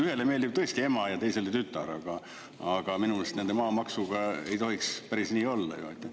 Ühele meeldib tõesti ema ja teisele tütar, aga minu meelest nende maamaksuga ei tohiks päris nii olla ju.